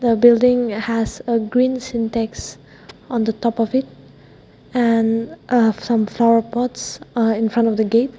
the building has a green syntax on the top of it and uh some flower pots uh in front of the gate.